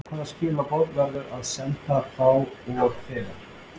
Hvaða skilaboð verður að senda þá og þegar?